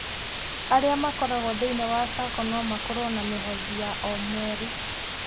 Arĩa makoragũo thĩinĩ wa sacco no makorũo na mĩhothi ya o mweri.